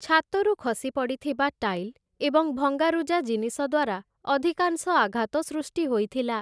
ଛାତରୁ ଖସିପଡ଼ିଥିବା ଟାଇଲ୍ ଏବଂ ଭଙ୍ଗାରୁଜା ଜିନିଷ ଦ୍ୱାରା ଅଧିକାଂଶ ଆଘାତ ସୃଷ୍ଟି ହୋଇଥିଲା ।